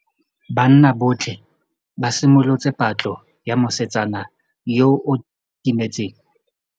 Banna botlhê ba simolotse patlô ya mosetsana yo o timetseng.